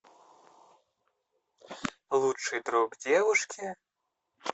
лучший друг девушки